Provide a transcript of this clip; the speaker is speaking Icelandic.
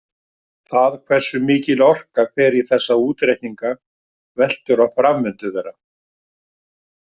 Það hversu mikil orka fer í þessa útreikninga veltur á framvindu þeirra.